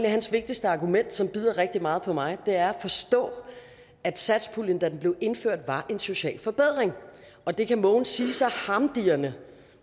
at hans vigtigste argument som bider rigtig meget på mig er at forstå at satspuljen da den blev indført var en social forbedring og det kan mogens sige så harmdirrende